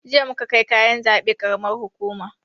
Jiya muka kai kayan zaɓe karamar hukuma